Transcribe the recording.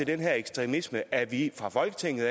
den her ekstremisme at vi fra folketingets